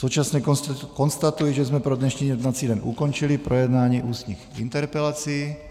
Současně konstatuji, že jsme pro dnešní jednací den ukončili projednání ústních interpelací.